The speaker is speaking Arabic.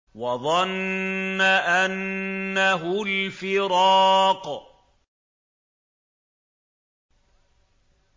وَظَنَّ أَنَّهُ الْفِرَاقُ